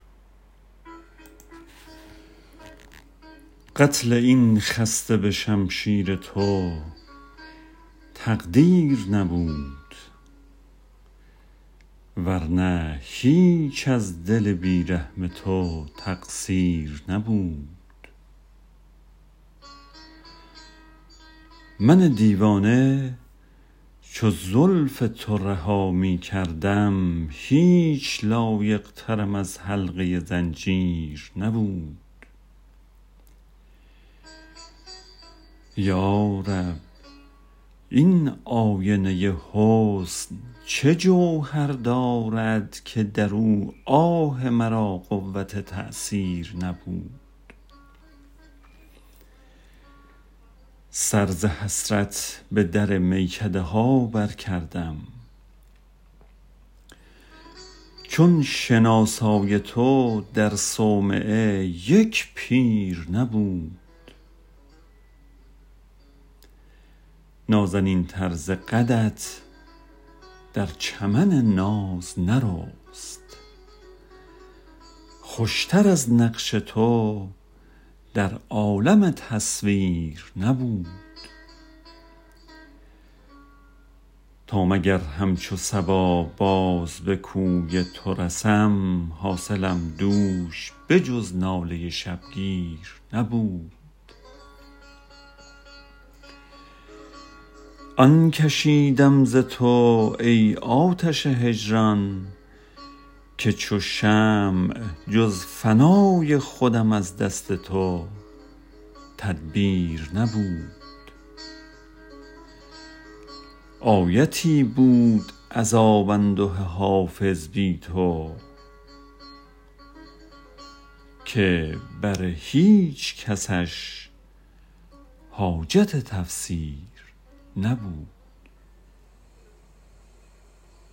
قتل این خسته به شمشیر تو تقدیر نبود ور نه هیچ از دل بی رحم تو تقصیر نبود من دیوانه چو زلف تو رها می کردم هیچ لایق ترم از حلقه زنجیر نبود یا رب این آینه حسن چه جوهر دارد که در او آه مرا قوت تأثیر نبود سر ز حسرت به در میکده ها برکردم چون شناسای تو در صومعه یک پیر نبود نازنین تر ز قدت در چمن ناز نرست خوش تر از نقش تو در عالم تصویر نبود تا مگر همچو صبا باز به کوی تو رسم حاصلم دوش به جز ناله شبگیر نبود آن کشیدم ز تو ای آتش هجران که چو شمع جز فنای خودم از دست تو تدبیر نبود آیتی بود عذاب انده حافظ بی تو که بر هیچ کسش حاجت تفسیر نبود